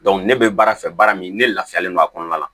ne bɛ baara fɛ baara min ne laafiyalen don a kɔnɔna la